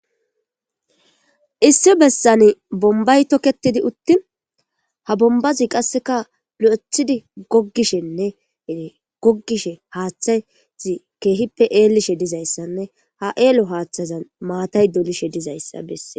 issi bessan bombay toketidi uttin ha bombazi qasseka lo7ethidi goggishenne gogishe haaththayzi keehippe eelishe dizayssanne ha7eelo haaththazan maatay dolishe dizayssa besse